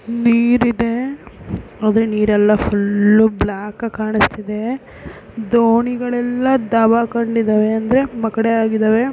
ನೀರಿದೆ ಆದ್ರೆ ನೀರೆಲ್ಲಾ ಫುಲ್ಲು ಬ್ಲಾಕ್ ಆಗಿ ಆಗಿ ಕಾಣಿಸ್ತಾ ಇದೆ ದೋಣಿಗಳೆಲ್ಲ ದಬ್ಬಾಕೊಂಡಿದಾವೆ ಅಂದ್ರೆ ಮ ಕಡೆ ಆಗಿದವೆ.